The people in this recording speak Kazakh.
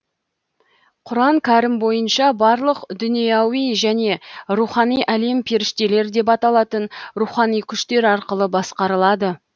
құран кәрім бойынша барлық дүнияуи және рухани әлем періштелер деп аталатын рухани күштер арқылы басқарылады